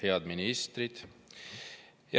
Head ministrid!